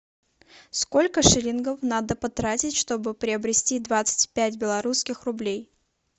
сколько шиллингов надо потратить чтобы приобрести двадцать пять белорусских рублей